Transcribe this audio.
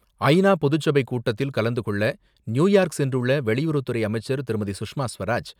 ஐ நா பொதுச்சபை கூட்டத்தில் கலந்து கொள்ள நியுயார்க் சென்றுள்ள வெளியறவு அமைச்சர் திருமதி. சுஷ்மா ஸ்வராஜ்